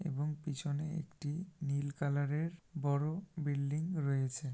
এবং পিছনে একটি নীল কালার -এর বড় বিল্ডিং রয়েছে।